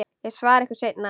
Ég svara ykkur seinna.